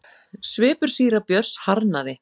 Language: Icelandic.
Svipur síra Björns harðnaði.